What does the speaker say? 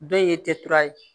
Dɔw ye ye